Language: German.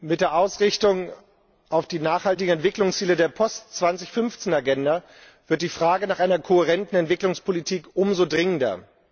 Mit der Ausrichtung auf die nachhaltigen Entwicklungsziele der Post 2015 Agenda wird die Frage nach einer kohärenten Entwicklungspolitik umso dringender.